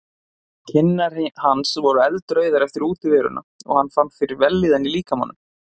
Kinnar hans voru eldrauðar eftir útiveruna og hann fann fyrir vellíðan í líkamanum.